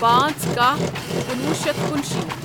پانژھ کاہ کُنوُہ شیتھ کُنشیٖتھ